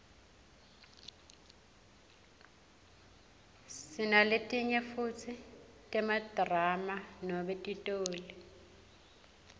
sinaletinye futsi temadrama noma titoli